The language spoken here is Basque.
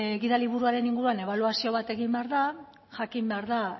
gidaliburuaren inguruan ebaluazio bat egin behar da jakin behar da